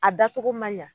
A dacogo man ɲa